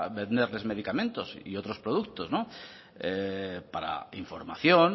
venderles medicamentos y otros productos para información